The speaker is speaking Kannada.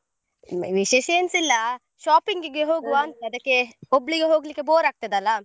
ವಿಶೇಷ ಎನ್ಸಿಲ್ಲಾ shopping ಗೆ ಅದಕ್ಕೆ, ಒಬ್ಳಿಗೆ ಹೋಗ್ಲಿಕ್ಕೆ bore ಆಗ್ತಾದಲ್ಲಾ?